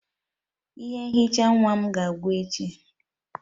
Ihe nhicha nwa m ga-agwụ echi.